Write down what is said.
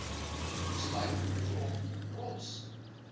sluit grond rots